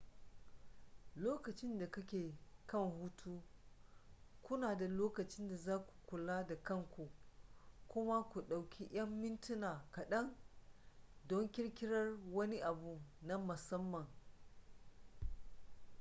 lokacin da kake kan hutu kuna da lokacin da za ku kula da kanku kuma ku ɗauki yan mintuna kaɗan don ƙirƙirar wani abu na musamman